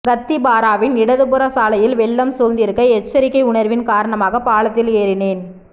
கத்திப்பாராவின் இடதுபுற சாலையில் வெள்ளம் சூழ்ந்திருக்க எச்சரிக்கை உணர்வின் காரணமாக பாலத்தில் ஏறினேன்